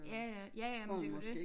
Ja ja ja ja men det er jo dét